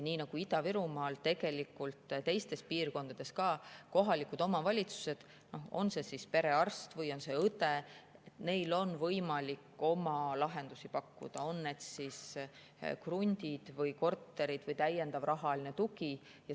Nii nagu Ida-Virumaal, on tegelikult ka teistes piirkondades kohalikel omavalitsustel perearstile või õele võimalik oma lahendusi pakkuda, on see siis krunt või korter või täiendav rahaline tugi.